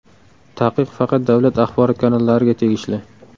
Taqiq faqat davlat axborot kanallariga tegishli.